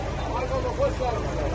Sağ olun, xoş gəlmisiniz.